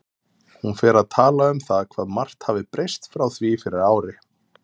Hún fer að tala um það hvað margt hafi breyst frá því fyrir ári.